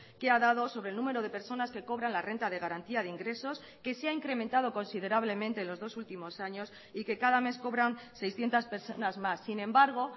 que ha dado sobre el número de personas que cobran la renta de garantía de ingresos que se ha incrementado considerablemente los dos últimos años y que cada mes cobran seiscientos personas más sin embargo